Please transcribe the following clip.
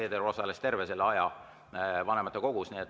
Helir-Valdor Seeder osales terve selle aja vanematekogus.